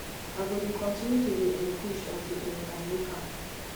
i go dey continue to dey um push untill um i make am